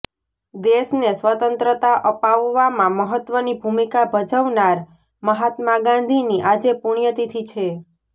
દેશને સ્વતંત્રતા અપાવવામાં મહત્વની ભૂમિકા ભજવનાર મહાત્મા ગાંધીની આજે પુણ્યતિથિ છે